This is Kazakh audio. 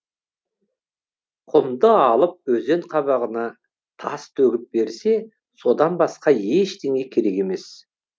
құмды алып өзен қабағына тас төгіп берсе содан басқа ештеңе керек емес